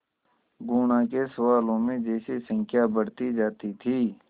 गुणा के सवालों में जैसे संख्या बढ़ती जाती थी